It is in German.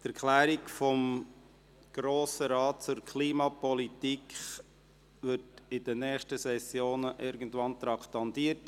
Die «Erklärung des Grossen Rates zur Klimapolitik» wird irgendwann in den nächsten Sessionen traktandiert.